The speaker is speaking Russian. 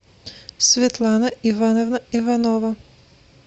светлана ивановна иванова